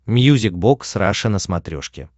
мьюзик бокс раша на смотрешке